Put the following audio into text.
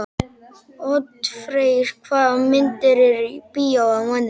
Oddfreyr, hvaða myndir eru í bíó á mánudaginn?